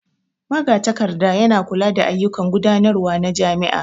Magatakarda yana kula da ayyukan gudanarwa na jami'a.